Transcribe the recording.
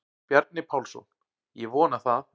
Bjarni Pálsson: Ég vona það.